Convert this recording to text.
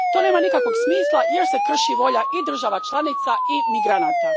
To nema nikakvog smisla jer se krši volja i država članica i migranata.